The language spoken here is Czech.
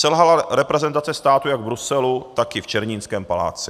Selhala reprezentace státu jak v Bruselu, tak i v Černínském paláci.